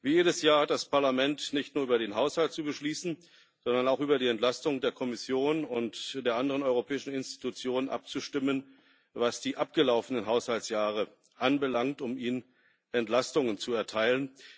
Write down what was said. Wie jedes Jahr hat das Parlament nicht nur über den Haushalt zu beschließen, sondern auch über die Entlastung der Kommission und der anderen europäischen Institutionen abzustimmen, was die abgelaufenen Haushaltsjahre anbelangt, um ihnen Entlastung zu erteilen.